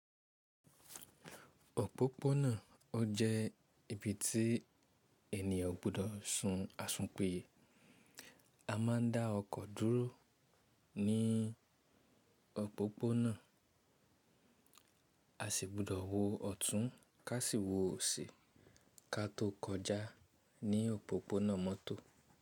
Òpópónà o jẹ́ ibi tí ènìyàn o gbudọ̀ sun asùnpiyé. A máa ń dá ọkọ̀ dúró ní òpópónà. A sì gbọdọ̀ wo ọ̀tún kà sí wo òsì ká tó kọjá ní òpópónà mọ́tò.